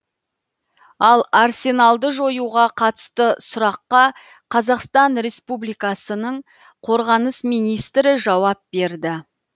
ал арсеналды жоюға қатысты сұраққа қазақстан республикасының қорғаныс министрі жауап берді